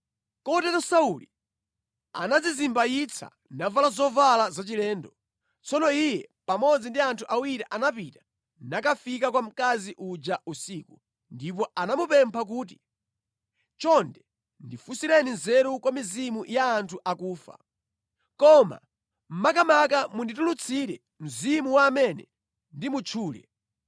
Kotero Sauli anadzizimbayitsa navala zovala zachilendo. Tsono iye pamodzi ndi anthu awiri anapita nakafika kwa mkazi uja usiku, ndipo anamupempha kuti, “Chonde ndifunsireni nzeru kwa mizimu ya anthu akufa. Koma makamaka munditulutsire mzimu wa amene ndimutchule.”